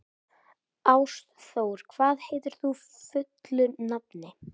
Ástþór, hvað heitir þú fullu nafni?